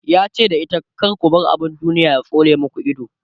yace da ita "ku ku bar abun duniya ya tsole maku Ido!"